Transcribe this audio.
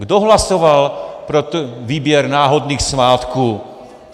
Kdo hlasoval pro výběr náhodných svátků?